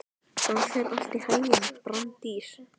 Gangi þér allt í haginn, Branddís.